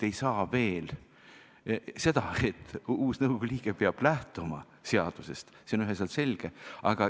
See, et uus nõukogu liige peab lähtuma seadusest, on üheselt selge.